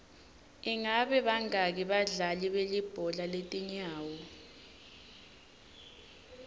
ingabe bangaki badlali belibhola letinyawo